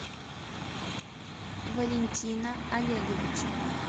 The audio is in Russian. валентина олеговича